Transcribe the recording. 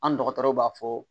An dɔgɔtɔrɔw b'a fɔ